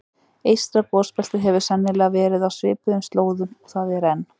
Eystra gosbeltið hefur sennilega verið á svipuðum slóðum og það er enn.